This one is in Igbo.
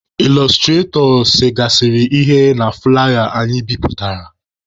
Ịlọstratọ segasịrị ihe na fụlaya anyị bipụtara.